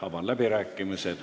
Avan läbirääkimised.